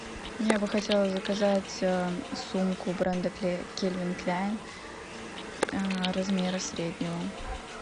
я бы хотела заказать сумку бренда кельвин кляйн размера среднего